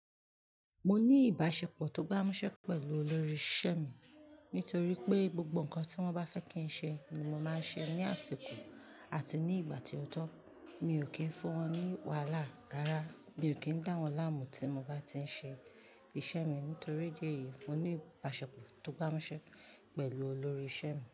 Mo ní ìbáṣepọ̀ tó gbámúṣẹ́ pẹ̀lú olórí isẹ́ mi nítorí pé gbogbo nǹkan tí wọ́n bá fẹ́ kí n ṣe ni mo máa ń ṣe ní àsìkò àti ní ìgbà tí ó tọ́, mi ò kí ń fún wọn ní wàhálà rárá, mi ò kí ń dá wọn láàmú tí mo bá ti ń ṣe isẹ́ mi. Nítorí idí ẹ̀yìí, mo ní ìbáṣepọ̀ tó gbámúṣẹ́ pẹ̀lú olórí isẹ́ mi.